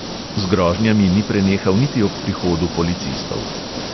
Z grožnjami ni prenehal niti ob prihodu policistov.